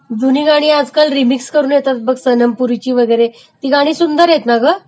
जुनी गाणी आजकाल रिमिक्स करुन येतात सनम पुरीची वगैरे, ती गाणी सुंदर आहेत ना ग..